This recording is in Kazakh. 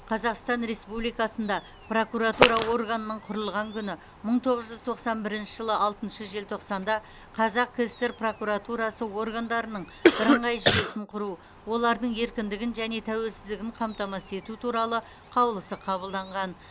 қазақстан республикасында прокуратура органының құрылған күні мың тоғыз жүз тоқсан бірінші жылы алтыншы желтоқсанда қазақ кср прокуратурасы органдарының бірыңғай жүйесін құру олардың еркіндігін және тәуелсіздігін қамтамасыз ету туралы қаулысы қабылданаған